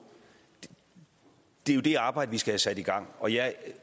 det er jo det arbejde vi skal have sat i gang og jeg